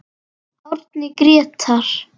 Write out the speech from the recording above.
Árni Grétar.